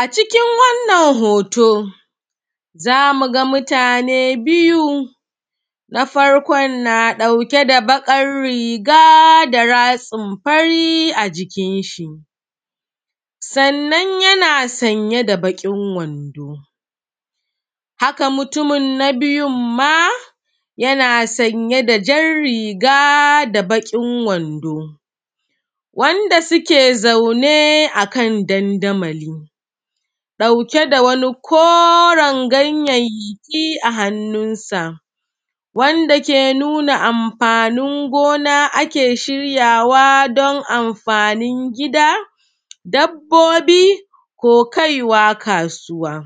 A cikin wannan hoto, za mu ga mutane biyu, na farkon na ɗauke da baƙar riga da ratsin fari a jikin shi. Sannan yana saye da baƙin wando. Haka mutumin na biyun ma yana sanye da jan riga da baƙin wando, wanda suke zaune a kan dandamali ɗauke da wani koren ganyayyaki a hannunsa. Wwanda ke nuna amfanin gona ake shiryawa don amfanin gida, dabbobi ko kaiwa kasuwa.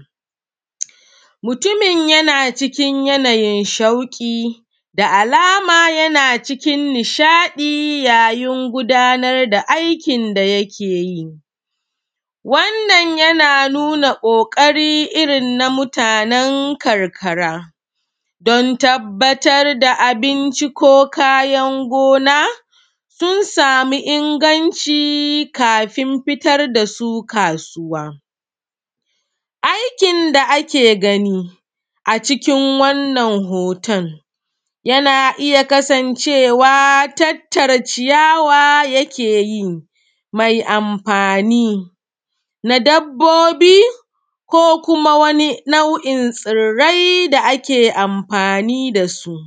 Mutumin yana cikin yanayin shauƙi, da alama yana cikin nishaɗi yayin gudanar da aikin da yake yi. Wannan na nuna ƙoƙari irin na mutanen karkara, don tabbatar da abinci ko kayan gona, sun sami inganci kafin fitar da su kasuwa. Aikin da ake gani a cikin wannan hoton, yana iya kasancewa tattara ciyawa yak e yi, mai amfani na dabbobi, ko kuma wani nau’in tsirrai da ake amfani da su.